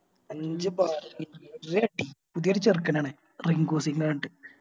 അഞ്ച് ഒരടി പുതിയൊരു ചെറുക്കനാണ് റിങ്കുസിന്ന് പറഞ്ഞിട്ട്